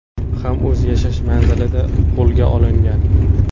ham o‘z yashash manzilida qo‘lga olingan.